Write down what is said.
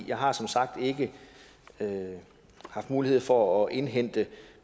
jeg har som sagt ikke haft mulighed for at indhente